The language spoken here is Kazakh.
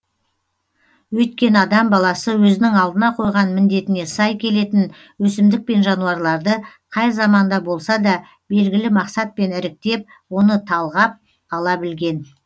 өйткені адам баласы өзінің алдына қойған міндетіне сай келетін өсімдік пен жануарларды қай заманда болса да белгілі мақсатпен іріктеп оны талғап ала білген